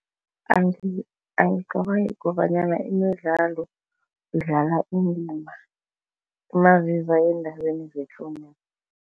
Angicabangi kobanyana imidlalo idlala indima naziza endabeni